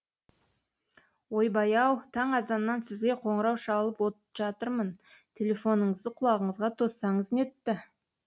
ойбай ау таң азаннан сізге қоңырау шалып жатырмын телефоныңызды құлағыңызға тоссаңыз нетті